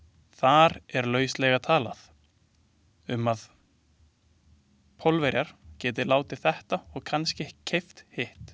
Þar er lauslega talað um, að Pólverjar geti látið þetta og kannske keypt hitt.